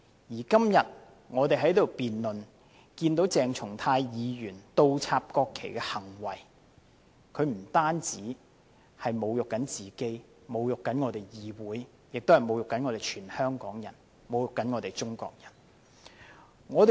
而我們今天辯論鄭松泰議員倒插國旗的行為，他不僅侮辱自己和議會，同時侮辱所有香港人和中國人。